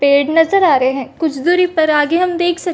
पेड़ नज़र आ रहे है कुछ दुरी पर आगे हम देख सकते--